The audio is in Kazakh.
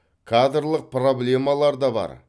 кадрлық проблемалар да бар